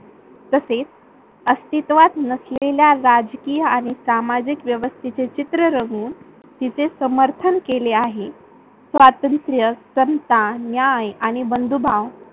तसेच अस्थीतवात नसलेला राजकीय आणि सामाजिक व्यवस्थेचे चित्र रंगून तिथे समर्थन केले आहे. स्वातंत्र्य, समता, न्याय आणि बंधुभाव